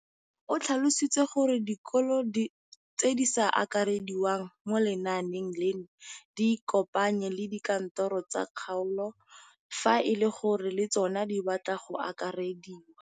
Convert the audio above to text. O tlhalositse gore dikolo tse di sa akarediwang mo lenaaneng leno di ikopanye le dikantoro tsa kgaolo fa e le gore le tsona di batla go akarediwa.